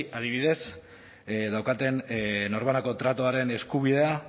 adibidez daukaten norbanako tratuaren eskubidea